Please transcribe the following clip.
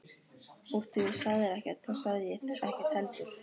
Úr því þú sagðir ekkert þá sagði ég ekkert heldur.